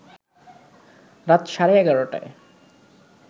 রাত সাড়ে ১১টায়